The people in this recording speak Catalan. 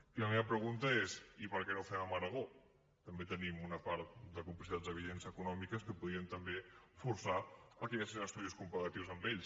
i la meva pregunta és i per què no ho fem amb aragó també tenim una part de complicitats evidents econòmiques que podien també forçar a que hi haguessin estudis comparatius amb ells